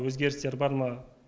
өзгерістер бар ма